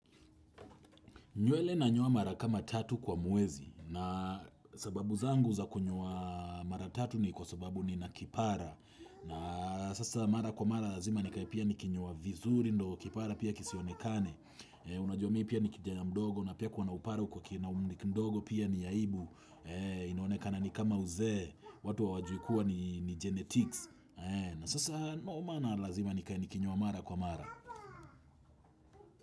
Nywele nanyoa mara kama tatu kwa mwezi na sababu zangu za kunyoa mara tatu ni kwa sababu nina kipara. Na sasa mara kwa mara lazima nikae pia nikinyoa vizuri ndo kipara pia kisionekane. Unajua mi pia ni kijana mdogo na pia kuwa na upara uko na kiumri kidogo pia ni aibu. Inaonekana ni kama uzee watu hawajui kuwa ni genetics. Na sasa no maana lazima nikae nikinyoa mara kwa mara.